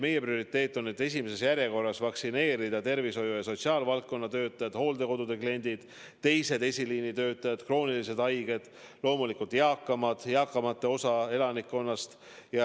Meie prioriteet on esimeses järjekorras vaktsineerida tervishoiu- ja sotsiaalvaldkonna töötajad, hooldekodude kliendid, teised esiliinitöötajad, kroonilised haiged, loomulikult eakam osa elanikkonnast.